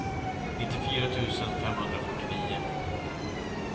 nittiofyra tusen femhundrafyrtionio